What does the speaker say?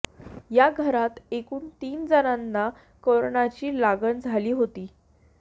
या घरात एकूण तीन जणांना करोनाची लागण झाली होती